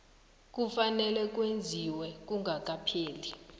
kufanele kwenziwe kungakapheli